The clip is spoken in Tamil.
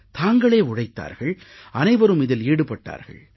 தாங்களே உழைத்தார்கள் அனைவரும் இதில் ஈடுபட்டார்கள்